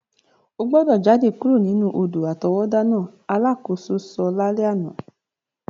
O gbọ́dọ̀ jade kuro nínú odò-àtọwọ́dá náà! alakoso so lalẹ àná.